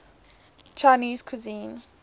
chinese cuisine